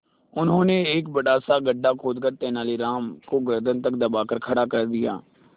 उन्होंने एक बड़ा सा गड्ढा खोदकर तेलानी राम को गर्दन तक दबाकर खड़ा कर दिया